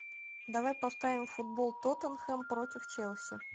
давай поставим футбол тоттенхэм против челси